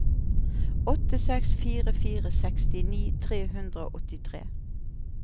åtte seks fire fire sekstini tre hundre og åttitre